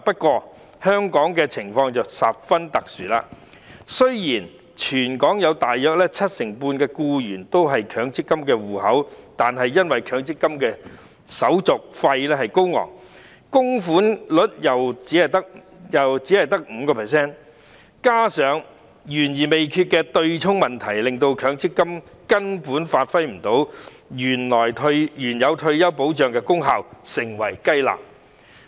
然而，香港的情況十分特殊，雖然大約七成半的僱員擁有強積金戶口，但因為手續費高昂，供款率亦只有 5%， 加上懸而未決的對沖問題，令強積金根本發揮不到退休保障的功效而成為"雞肋"。